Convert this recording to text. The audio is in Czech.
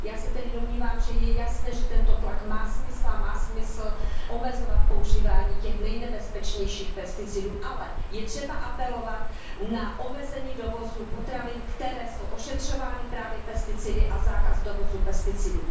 Já se tedy domnívám, že je jasné, že tento tlak má smysl a má smysl omezovat používání těch nejnebezpečnějších pesticidů, ale je třeba apelovat na omezení dovozu potravin, které jsou ošetřovány právě pesticidy, a zákaz dovozu pesticidů.